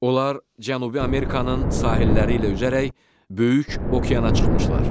Onlar Cənubi Amerikanın sahilləri ilə üzərək böyük okeana çıxmışlar.